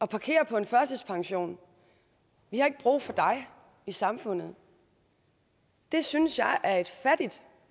parkeret på en førtidspension vi har ikke brug for dig i samfundet det synes jeg er et fattigt